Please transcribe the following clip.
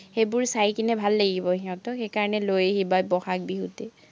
সেইবোৰ চাই কেনে ভাল লাগিব সিহঁতৰ, সেইকাৰণে লৈ আহিবা বহাগ বিহুতেই